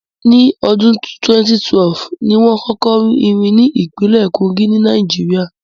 Ní ọdún 2012, ni wón kọ́kọ́ rí irin ní ìpínlẹ̀ Kogí, ní Nàìjíríà